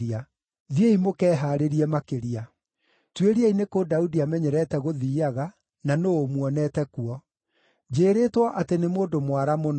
Thiĩi mũkehaarĩrie makĩria. Tuĩriai nĩ kũ Daudi amenyerete gũthiiaga, na nũũ ũmuonete kuo. Njĩrĩĩtwo atĩ nĩ mũndũ mwara mũno.